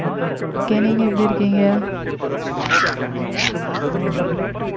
நல்லா இருக்கேன் நீங்க எப்படி இருக்கீங்க